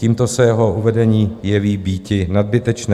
Tímto se jeho uvedení jeví býti nadbytečné.